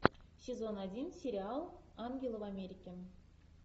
сезон один сериал ангелы в америке